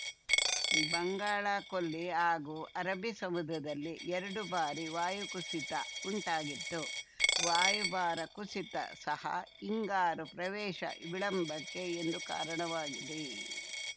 ಬಂಗಾಳ ಕೊಲ್ಲಿ ಹಾಗೂ ಅರಬ್ಬಿ ಸಮುದ್ರದಲ್ಲಿ ಎರಡು ಬಾರಿ ವಾಯು ಕುಸಿತ ಉಂಟಾಗಿತ್ತು ವಾಯುಭಾರ ಕುಸಿತ ಸಹ ಹಿಂಗಾರು ಪ್ರವೇಶ ವಿಳಂಬಕ್ಕೆ ಎಂದು ಕಾರಣವಾಗಿದೆ